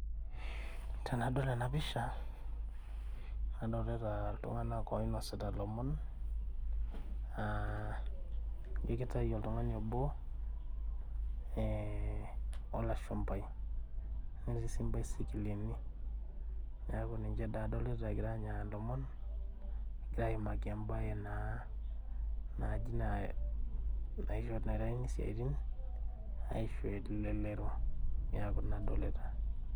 Tenadol ena pisha adolita iltung'anak oinosita ilomon uh ijio kitai oltung'ani obo eh olashumpai netii sii imbasikilini niaku ninche daa adolita egira aanya ilomon egira aimaki embaye naa naaji nae naitaini isiaitin aisho elelero niaku ina adolita.